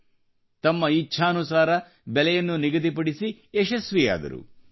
ಹಾಗೂ ತಮ್ಮ ಇಚ್ಛಾನುಸಾರ ಬೆಲೆಯನ್ನು ನಿಗದಿಪಡಿಸಿ ಯಶಸ್ವಿಯಾದರು